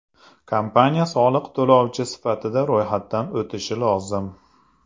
Kompaniya soliq to‘lovchi sifatida ro‘yxatdan o‘tishi lozim.